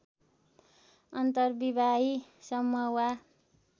अर्न्तविवाही समूह वा